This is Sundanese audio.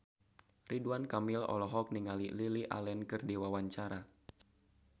Ridwan Kamil olohok ningali Lily Allen keur diwawancara